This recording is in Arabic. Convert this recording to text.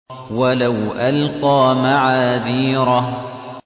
وَلَوْ أَلْقَىٰ مَعَاذِيرَهُ